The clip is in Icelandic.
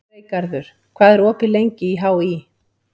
Freygarður, hvað er opið lengi í HÍ?